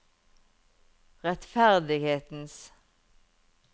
rettferdighetens